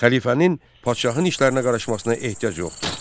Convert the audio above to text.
Xəlifənin padşahın işlərinə qarışmasına ehtiyac yoxdur.